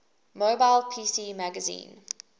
mobile pc magazine